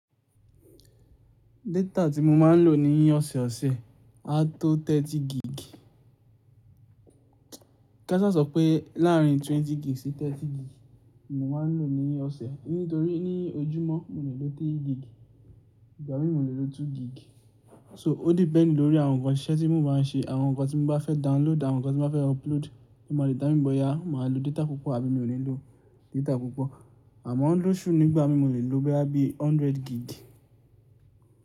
Data tí mo máa ń lò ní ọ̀sẹ̀ ọ̀sẹ̀ áa tó ọgbọ̀n gig. Kasa sọ pé láàrin ogún gig sí ọgbọ̀n gig ni mo máa ń lò ní ọ̀sẹ̀ nítorí ní ojúmọ́ mo lè lò ẹ̀ta gig ìgbà mi mo lè lò méjì gig. So ó depend lórí àwọn ǹkan ìṣe tí mo bá n ṣe, àwọn ǹkan tí mo bá fẹ́ download, àwọn ǹkan tí mo bá fẹ́ upload, lo ma determin boyá, mo máa lò data púpọ̀ àbí mi ò ní lò data púpọ̀. Àmọ́ lọ́ṣú ní ìgbà mi mo lè lò boya bíi ọgọ́rùn-ún gig.